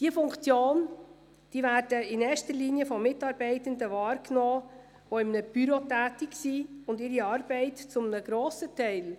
Dann kann sie jetzt nicht buchstabengetreu heranziehen, wie ich es gesagt und gemeint haben soll.